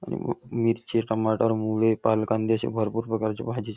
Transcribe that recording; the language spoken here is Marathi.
आणि मिरची टमाटर मुळे पालक कांदे अश्या भरपूर प्रकारच्या भाजी --